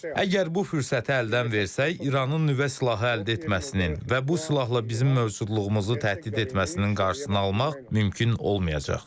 Əgər bu fürsəti əldən versək, İranın nüvə silahı əldə etməsinin və bu silahla bizim mövcudluğumuzu təhdid etməsinin qarşısını almaq mümkün olmayacaq.